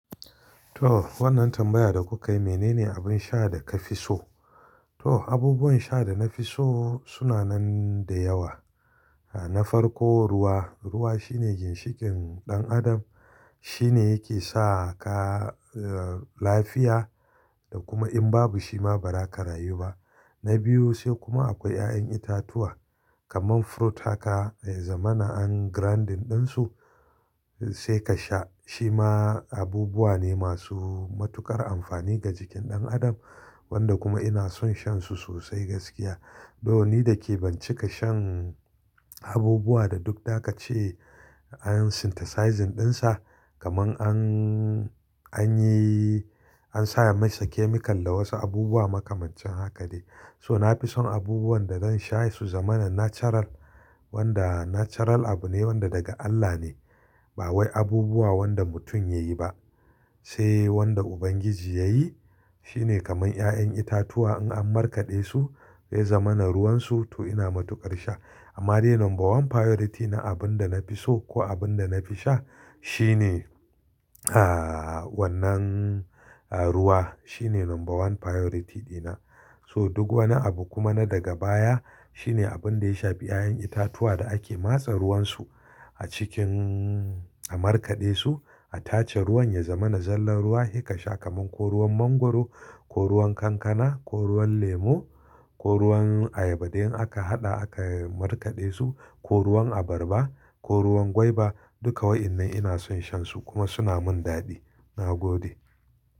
To wannan tambaya da kuka yi, menene abin sha da ka fi so? To abubuwan sha da na fi so suna nan da yawa. Na farko ruwa, ruwa shine ginshikin ɗan adam. Shi ne yake sa ka lafiya da kuma in babu shi ma ba za ka rayu ba. Na biyu sai kuma akwai 'ya'yan itatuwa kaman fruit haka ya zama na an grinding ɗinsu sai ka sha. Shi ma abubuwa ne masu matuƙar amfani ga jikin ɗan adam wanda kuma ina son shan su sosai gaskiya. To ni da ke bincika shan abubuwa da duk da ka ce an synthesize ɗinsa kaman an, an yi, an sa masa chemical da wasu abubuwa makamancin haka ne. So nafi son abubuwan da zan sha su zama na natural wanda natural abu ne wanda daga Allah ne. Ba wai abubuwa wanda mutum ya yi ba. Sai wanda Ubangiji ya yi. Shi ne kaman 'ya'yan itatuwa in an markaɗe su, ya zama na ruwan su to ina matuƙar sha. Amma dai number one priority na abin da na fi so ko abin da na fi sha shi ne, ah wannan ruwa. Shi ne number one priority dina. So duk wani abu kuma na daga baya. Shi ne abun da ya shaɓe 'ya'yan itatuwa da ake matsa ruwan su a cikin, a markaɗe su. A tace ruwan ya zama na zallar ruwa, hika sha kaman ko ruwan mangwaro, ko ruwan kankana, ko ruwan lemo, ko ruwan ayaba. Da in aka haɗa aka markaɗe su, ko ruwan abarba, ko ruwan gwaiba. Duka waɗannan ina son shan su kuma suna min daɗi. Na gode.